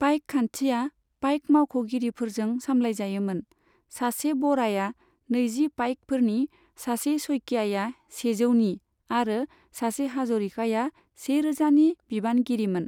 पाइक खान्थिया पाइक मावख'गिरिफोरजों सामलायजायोमोन, सासे बराया नैजि पाइकफोरनि, सासे सइकियाआ सेजौनि आरो सासे हाज'रिकाया सेरोजानि बिबानगिरिमोन।